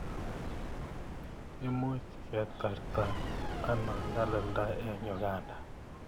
Imuch ketarta ano nyalilda eng' Uganda?